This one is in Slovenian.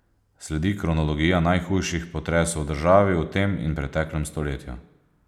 Sledi kronologija najhujših potresov v državi v tem in preteklem stoletju.